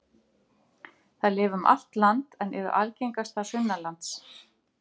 Þær lifa um allt land en eru algengastar sunnanlands.